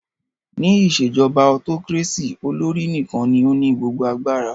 Ní ìṣèjọba autocracy, olórí nìkan ní o ní gbogbo agbara.